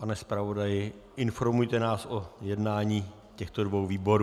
Pane zpravodaji, informujte nás o jednání těchto dvou výborů.